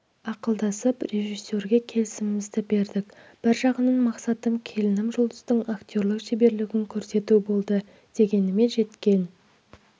ақылдасып режиссерге келісімімізді бердік бір жағынан мақсатым келінім жұлдыздың актерлық шеберлігін көрсету болды дегеніме жеткен